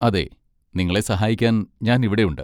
അതെ, നിങ്ങളെ സഹായിക്കാൻ ഞാൻ ഇവിടെയുണ്ട്.